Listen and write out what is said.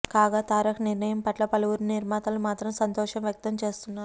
కాగా తారక్ నిర్ణయం పట్ల పలువురు నిర్మాతలు మాత్రం సంతోషం వ్యక్తం చేస్తున్నారు